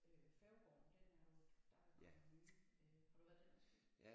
Øh Færgegaarden den er jo der er jo kommet nye øh har du været derinde og spise?